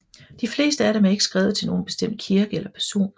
De fleste af dem er ikke skrevet til nogen bestemt kirke eller person